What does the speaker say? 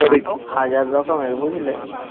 নাটক হাজার রকমের বুঝলে